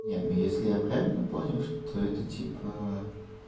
нет ну если я правильно понял что это типа